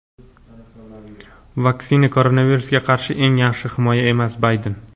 Vaksina koronavirusga qarshi eng yaxshi himoya emas – Bayden.